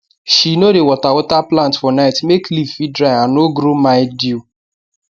she no dey water water plant for night make leaf fit dry and no grow mildew